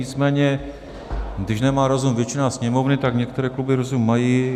Nicméně když nemá rozum většina sněmovny, tak některé kluby rozum mají.